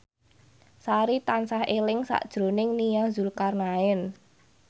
Sari tansah eling sakjroning Nia Zulkarnaen